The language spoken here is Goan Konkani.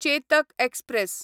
चेतक एक्सप्रॅस